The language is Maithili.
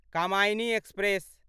कामायनी एक्सप्रेस